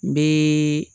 N bɛ